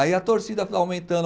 Aí a torcida foi aumentando